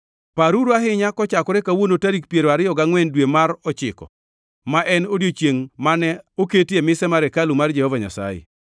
‘Paruru ahinya kochakore kawuono tarik piero ariyo gangʼwen mar dwe mar ochiko, ma en odiechiengʼ mane oketie mise mar hekalu mar Jehova Nyasaye.